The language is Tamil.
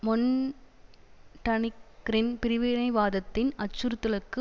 மொன்டனிக்ரின் பிரிவினைவாதத்தின் அச்சுறுத்தலுக்கு